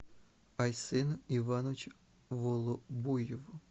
айсену ивановичу волобуеву